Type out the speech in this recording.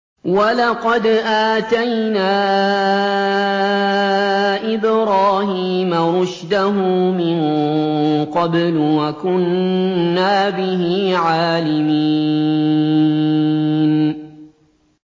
۞ وَلَقَدْ آتَيْنَا إِبْرَاهِيمَ رُشْدَهُ مِن قَبْلُ وَكُنَّا بِهِ عَالِمِينَ